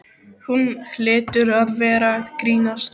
Hún hlýtur að vera að grínast.